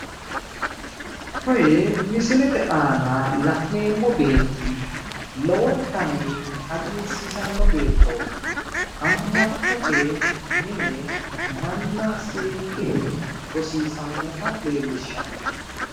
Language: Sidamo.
Kuni misilete aana la'neemmo beetti lowontanni hagiirsiisanno beettooti amma'note mine manna seekke rosiisannota leellishshanno.